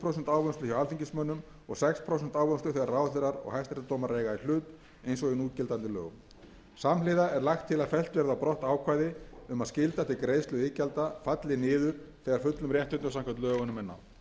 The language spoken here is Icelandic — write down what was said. ávinnslu hjá alþingismönnum og sex prósent ávinnslu þegar ráðherrar og hæstaréttardómarar eiga í hlut eins og í núgildandi lögum samhliða er lagt til að fellt verði á brott ákvæði um að skylda til greiðslu iðgjalda falli niður þegar fullum réttindum samkvæmt lögunum er náð